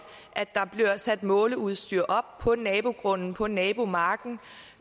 at der bliver sat måleudstyr op på nabogrunden på nabomarken